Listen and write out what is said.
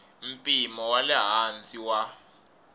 mpimo wa le hansi wa